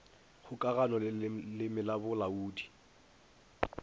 kgokagano le leleme la bolaodi